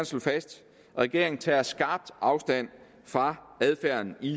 slå fast at regeringen tager skarpt afstand fra adfærden i